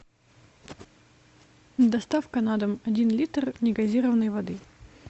доставка на дом один литр негазированной воды